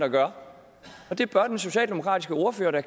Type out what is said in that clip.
at gøre og det bør den socialdemokratiske ordfører da